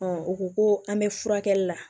u ko ko an bɛ furakɛli la